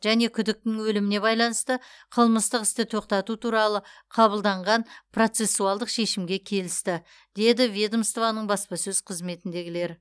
және күдіктінің өліміне байланысты қылмыстық істі тоқтату туралы қабылданған процессуалдық шешімге келісті деді ведомствоның баспасөз қызметіндегілер